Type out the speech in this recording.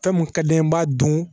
Fɛn mun ka di n ye n b'a dun